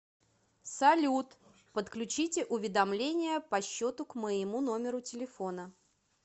салют подключите уведомления по счету к моему номеру телефона